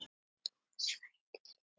Dóra Snædís.